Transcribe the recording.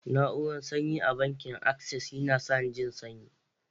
Na'urar sanyi a bankin Access yana sanyani jin sanyi.